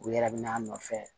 U yɛrɛ bina a nɔfɛ